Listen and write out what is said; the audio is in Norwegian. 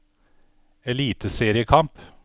eliteseriekamp